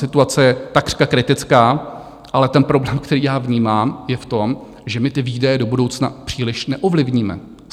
Situace je takřka kritická, ale ten problém, který já vnímám, je v tom, že my ty výdaje do budoucna příliš neovlivníme.